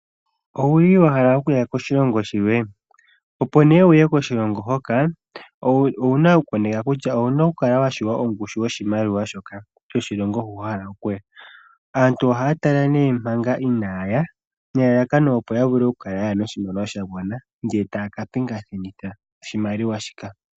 Owuli wahala okuya koshilongo shilwe, opo nee wuye koshilongo hoka, owuna kukoneka kutya owuna kukala washiwa ongushu yoshimaliwa shoka, shoshilongo hu wahala okuya. aantu ohatala nee manga iinayaya nelalakono opo yavule okuya noshimaliwa shagwana ndee taaka pingathitha oshimaliwa shika.